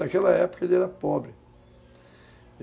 Naquela época ele era pobre.